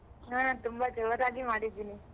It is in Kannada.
ಹ ತುಂಬಾ ಜೋರಾಗಿ ಮಾಡಿದ್ದೀನಿ.